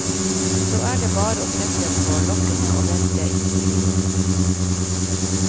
Så er det bare å sette på lokkene og vente i ti minutter.